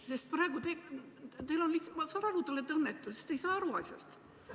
Ma saan aru, et te olete õnnetu, sest te ei saa aru sellest asjast.